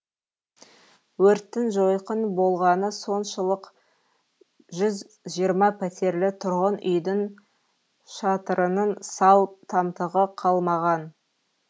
өрттің жойқын болғаны соншылық жүз жиырма пәтерлі тұрғын үйдің шатырының сау тамтығы қалмаған